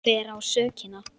Hver á sökina?